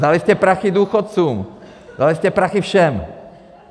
Vzali jste prachy důchodcům! vzali jste prachy všem!